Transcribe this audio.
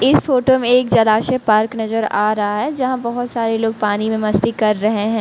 इस फोटो में एक जलाशय पार्क नजर आ रहा है यहां बहुत सारे लोग पानी में मस्ती कर रहे हैं।